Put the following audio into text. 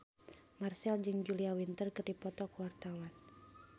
Marchell jeung Julia Winter keur dipoto ku wartawan